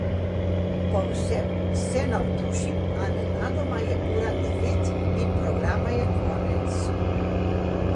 Povsem se navdušim, a nenadoma je ura devet in programa je konec.